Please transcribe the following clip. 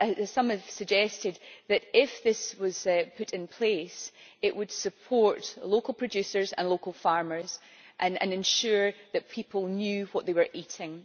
Some have suggested that if this was put in place it would support local producers and local farmers and ensure that people knew what they were eating.